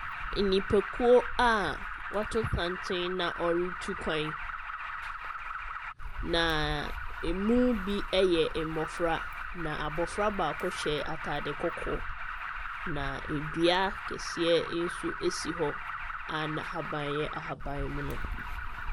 Nnipakuo a wɔato santen na wɔretu kwan, na ɛmu bi yɛ mmɔfra, na abɔfra baako hyɛ atade kɔkɔɔ, na dua kɛseɛ nso si hɔ, a n'ahaban yɛ ahaban mono.